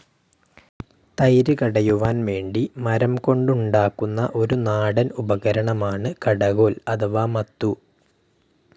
തൈര് കടയുവാൻ വേണ്ടി മരം കൊണ്ടുണ്ടാക്കുന്ന ഒരു നാടൻ ഉപകരണമാണ് കടകോൽ അഥവാ മത്തു.